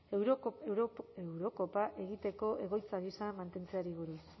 eurokopa egiteko egoitza gisa mantentzeari buruz